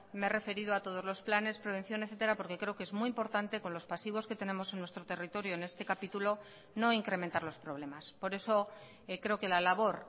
me he referido a todos los planes prevención etcétera porque creo que es muy importante con los pasivos que tenemos en nuestro territorio en este capítulo no incrementar los problemas por eso creo que la labor